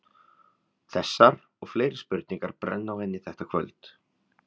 Þessar og fleiri spurningar brenna á henni þetta kvöld.